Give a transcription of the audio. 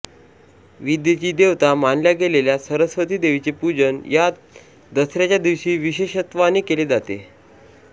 विद्येची देवता मानल्या गेलेल्या सरस्वती देवीचे पूजन या दसऱ्याच्या दिवशी विशेषत्वाने केले जाते